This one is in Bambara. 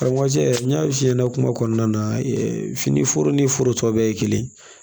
Aramajɛ n y'a f'i ɲɛna kuma kɔnɔna na fini foro ni foro tɔ bɛɛ ye kelen ye